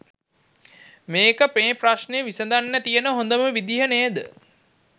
මේක මේ ප්‍රශ්නෙ විසඳන්න තියන හොඳම විදිය නේද?